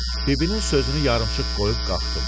Bibinin sözünü yarımçıq qoyub qalxdım.